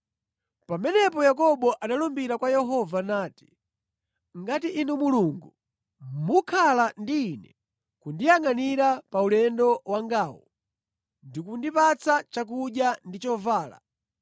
Pamenepo Yakobo analumbira kwa Yehova nati, “Ngati inu Mulungu mukhala ndi ine, kundiyangʼanira pa ulendo wangawu ndi kundipatsa chakudya ndi chovala;